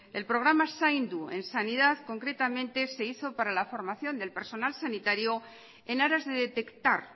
el programa zaindu en sanidad concretamente se hizo para la formación del personal sanitario en aras de detectar